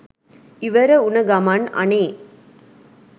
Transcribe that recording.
ඉවර වුන ගමන් අනේ